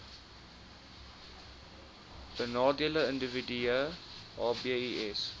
benadeelde individue hbis